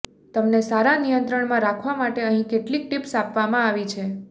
તમને સારા નિયંત્રણમાં રાખવા માટે અહીં કેટલીક ટીપ્સ આપવામાં આવી છે